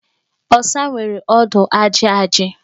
Ọsa nwere ọdụ ajị ajị.